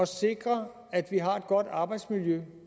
sikre at vi har et godt arbejdsmiljø